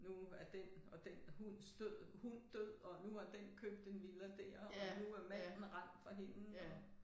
Nu er den og den hunds død hund død og nu har den købt en villa dér og nu er manden rendt fra hende og